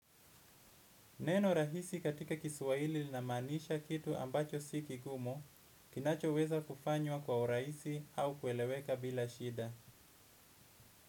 Neno rahisi katika kiswahili lina maanisha kitu ambacho si kigumu, kinacho weza kufanywa kwa urahisi au kueleweka bila shida.